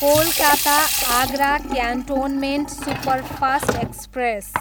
Kolkata, Agra cantonment superfast express